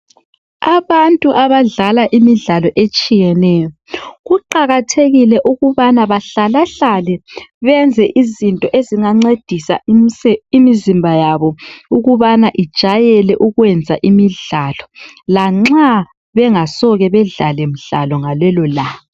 Abantu abadlala imidlalo etshiyatshiyeneyo kuqakathekile ukuthi bahlalahlale bekhangela imizimba yabo ukubana ijwayele ukwenza imidlalo lanxa bengasoze bedlale mzwana welanga.